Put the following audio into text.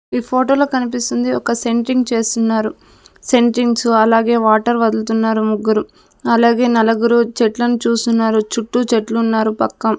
ఈ ఫోటోలో కనిపిస్తుంది ఒక సెంట్రింగ్ చేస్తున్నారు సెంట్రింగ్స్ అలాగే వాటర్ వదులుతున్నారు ముగ్గురు అలాగే నలుగురు చెట్లను చూస్తున్నారు చుట్టూ చెట్లున్నారు పక్కం--